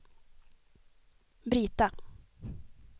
Brita